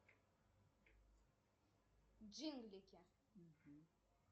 джинглики